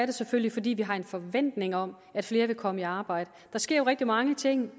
det selvfølgelig fordi vi har en forventning om at flere vil komme i arbejde der sker jo rigtig mange ting